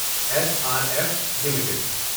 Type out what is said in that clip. S R F limited